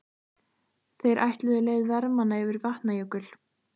Þeir ætluðu leið vermanna yfir Vatnajökul.